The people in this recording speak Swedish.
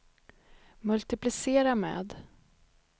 multiplicera med